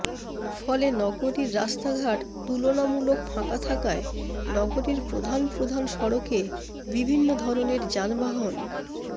ফলে নগরীর রাস্তাঘাট তুলনামূলক ফাঁকা থাকায় নগরীর প্রধান প্রধান সড়কে বিভিন্ন ধরনের যানবাহন